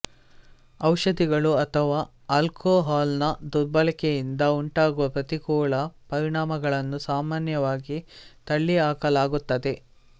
ಔಷಧಿಗಳು ಅಥವಾ ಆಲ್ಕೋಹಾಲ್ ನ ದುರ್ಬಳಕೆಯಿಂದ ಉಂಟಾಗುವ ಪ್ರತಿಕೂಲ ಪರಿಣಾಮಗಳನ್ನು ಸಾಮಾನ್ಯವಾಗಿ ತಳ್ಳಿಹಾಕಲಾಗುತ್ತದೆ